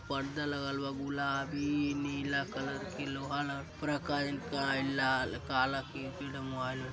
पर्दा लगल बा गुलाबी नीला कलर के लोहा लगल उपरा काजनी का इ लाल काला तीन-तीन ठो मोबाइल --